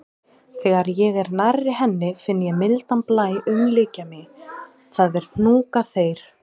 Þegar ég er nærri henni finn ég mildan blæ umlykja mig, það er hnúkaþeyr.